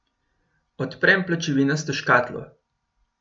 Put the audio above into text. Odprem pločevinasto škatlo.